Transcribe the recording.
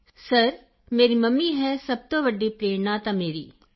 Kritika sir ਮੇਰੀ mummy ਹੈ ਸਭ ਤੋਂ ਵੱਡੀ ਪ੍ਰੇਰਣਾ ਤਾਂ ਮੇਰੀ